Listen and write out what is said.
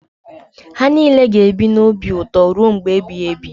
Ha niile ga-ebi n’obi ụtọ ruo mgbe ebighị ebi.